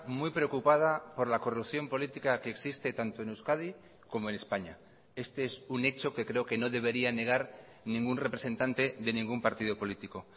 muy preocupada por la corrupción política que existe tanto en euskadi como en españa este es un hecho que creo que no debería negar ningún representante de ningún partido político